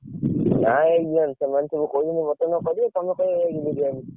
ନା egg biryani ସେମାନେ କହୁଛନ୍ତି mutton କରିବେ ତମେ କାଇଁ egg biryani କରିବ?